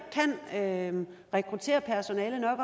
kan rekruttere personale nok